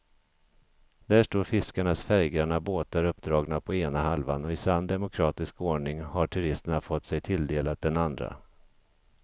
Där står fiskarnas färggranna båtar uppdragna på ena halvan och i sann demokratisk ordning har turisterna fått sig tilldelade den andra.